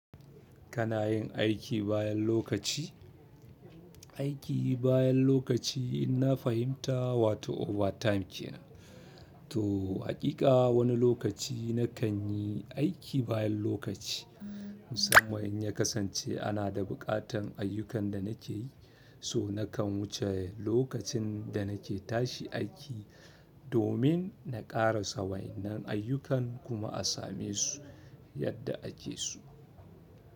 Kana yin aiki bayan lokaci? Aiki bayan lokaci in na fahimta wa to overtime kenan to haƙiƙa wani lokaci na kan yi aiki bayan lokaci. Musamman in ya kasance ana da buƙatan ayyukan da na ke yi, so na kan wuce lokacin da na ke tashi aiki domin na ƙarasa wayan nan ayyukan kuma a same su yadda ake so.